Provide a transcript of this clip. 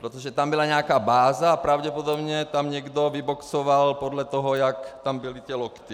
Protože tam byla nějaká báze a pravděpodobně tam někdo vyboxoval podle toho, jak tam byly ty lokty.